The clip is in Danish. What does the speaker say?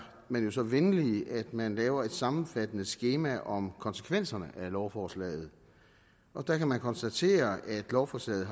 man jo så venlig at man laver et sammenfattende skema om konsekvenserne af lovforslaget og der kan vi konstatere at lovforslaget